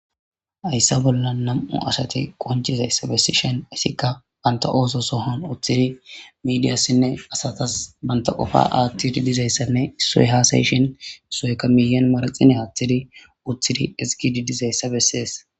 Ayssa bolla nam'u asati qoncizayssa bessi shen isikka banta ooso sohon uththidi midiyassinne asatas banta qofa aathtidi dizayssanne issoe haasayishin soeka miyan maraxine aaththidi uththidi isgidi dizayssa bessees